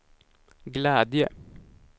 glädje